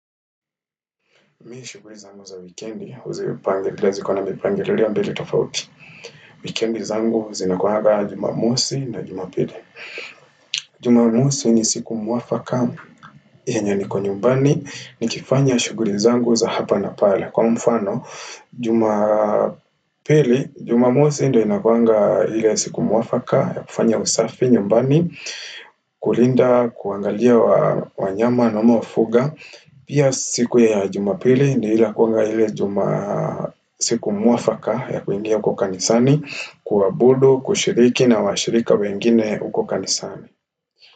Mimi shughuli zangu za wikendi, huzipangilia, zikona mipangililio mbili tofauti Wikendi zangu zinakuanga Jumamosi na Jumapili Jumamosi ni siku mwafaka yenye niko nyumbani, nikifanya shughuli zangu za hapa na pale Kwa mfano, juma pili, Jumamosi ndio inakuwanga ile siku mwafaka ya kufanya usafi nyumbani, kulinda, kuangalia wanyama ninaowafuga Pia siku ya Jumapili ni ile inakuwanga ile siku mwafaka ya kuingia kwa kanisani kuabudu, kushiriki na washirika wengine huko kanisani.